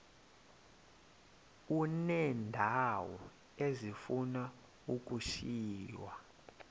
uneendawo ezifuna ukushiywa